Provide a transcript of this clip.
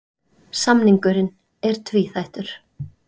Samningurinn er tvíþættur